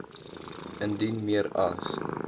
indien meer as